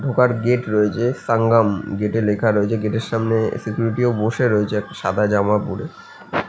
ঢোকার গেট রয়েছে সাঙ্গমম গেট এ লেখা রয়েছে গেট এর সামনে সিকিউরিটি ও বসে রয়েছে একটা সাদা জামা পরে।